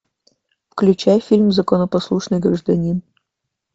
включай фильм законопослушный гражданин